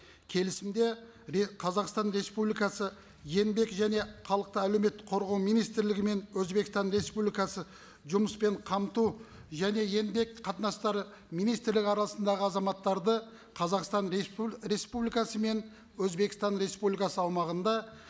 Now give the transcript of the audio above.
келісімде қазақстан республикасы еңбек және халықты әлеуметтік қорғау министрлігі мен өзбекстан республикасы жұмыспен қамту және еңбек қатынастары министрлігі арасындағы азаматтарды қазақстан республикасы мен өзбекстан республикасы аумағында